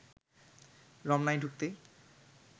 রমনায় ঢুকতে